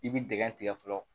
I bi dingɛ tigɛ fɔlɔ